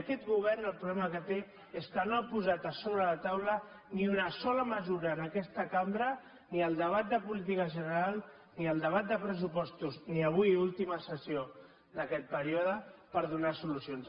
i aquest govern el problema que té és que no ha posat a sobre la taula ni una sola mesura en aquesta cambra ni al debat de política general ni al debat de pressupostos ni avui última sessió d’aquest període per donar solucions